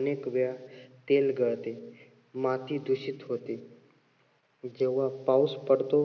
अनेक वेळा तेल गळते. माती दूषित होते. जेव्हा पाऊस पडतो